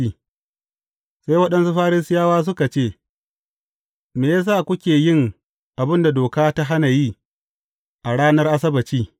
Sai waɗansu Farisiyawa suka ce, Me ya sa kuke yin abin da doka ta hana yi a ranar Asabbaci?